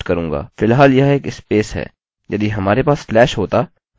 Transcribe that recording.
फिलहाल यह एक स्पेस है